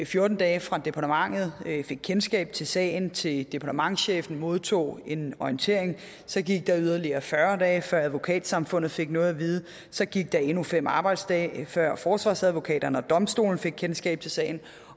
fjorten dage fra departementet fik kendskab til sagen til departementschefen modtog en orientering og så gik der yderligere fyrre dage før advokatsamfundet fik noget at vide og så gik der endnu fem arbejdsdage før forsvarsadvokaterne og domstolene fik kendskab til sagen